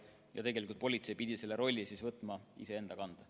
Nii et tegelikult politsei pidi selle rolli võtma iseenda kanda.